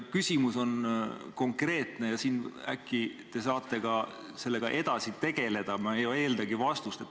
Küsimus on konkreetne ja äkki te saate sellega edasi tegeleda, ma ei eeldagi vastust.